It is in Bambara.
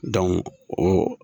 o.